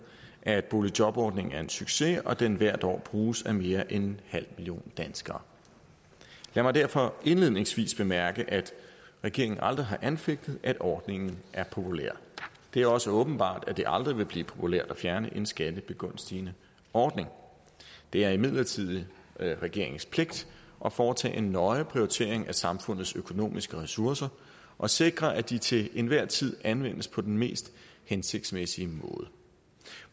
at boligjobordningen er en succes og at den hvert år bruges af mere end en halv million danskere lad mig derfor indledningsvis bemærke at regeringen aldrig har anfægtet at ordningen er populær det er også åbenbart at det aldrig vil blive populært at fjerne en skattebegunstigende ordning det er imidlertid regeringens pligt at foretage en nøje prioritering af samfundets økonomiske ressourcer og sikre at de til enhver tid anvendes på den mest hensigtsmæssige måde